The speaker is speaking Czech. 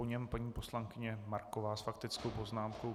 Po něm paní poslankyně Marková s faktickou poznámkou.